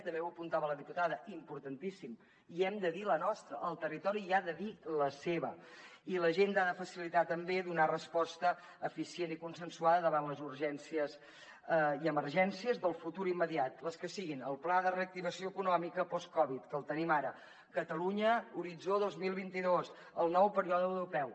també ho apuntava la diputada importantíssim hi hem de dir la nostra el territori hi ha de dir la seva i l’agenda ha de facilitar també donar resposta eficient i consensuada davant les urgències i emergències del futur immediat les que siguin el pla de reactivació econòmica post covid que el tenim ara catalunya horitzó dos mil vint dos el nou període europeu